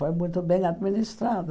Foi muito bem administrado.